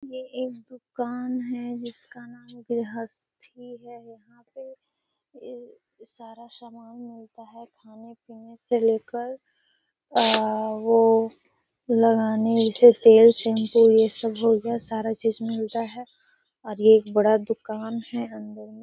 ये एक दुकान है जिसका नाम गृहस्ती है। यहाँ पर एक सारा सामान मिलता हैं खाने पीने से लेकर आ वो लगाने जैसे तेल शैम्पू ये सब हो गया सारा चीज मिलता हैं और एक ये बड़ा दुकान है अंदर में --